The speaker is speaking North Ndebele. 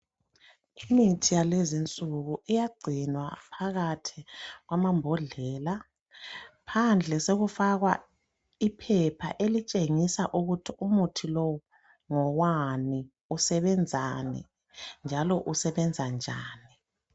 Imithi yalezinsuku iyagcinwa phakathi kwamambodlela. Phandle sekufakwa iphepha elitshengisa ukuthi Umuthi lowu ngowani, usebenzani njalo usebenza njani